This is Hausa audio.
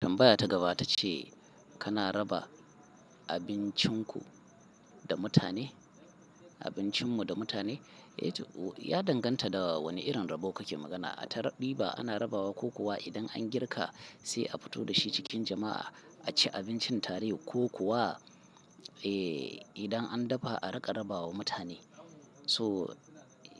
Tambaya ta gaba ta ce kana raba abincinku da mutane, abincinmu da mutane? Ya danganta da wane irin rabo kake magana. A ta ɗiba ana rabawa ko kuwa idan an girka sai a fito da shi cikin jama'a a ci abincin tare ko kuwa, eh, idan an dafa a riƙa rabawa mutane. So